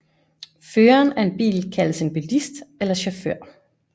Føreren af en bil kaldes en bilist eller chauffør